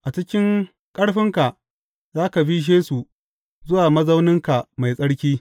A cikin ƙarfinka, za ka bishe su zuwa mazauninka mai tsarki.